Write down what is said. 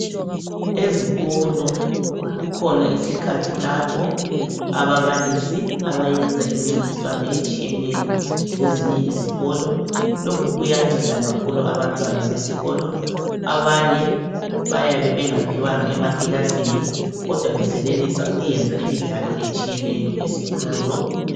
Ezikolo kukhona isikhathi lapho ababalisi abayenza imincintiswano etshiyeneyo lezinye izikolo. Lokhu kuyanceda kakhulu abantwana besikolo. Abanye bayabe bengaphiwanga emakilasini kodwa besenelisa ukuyenza imidlalo etshiyeneyo esikolo.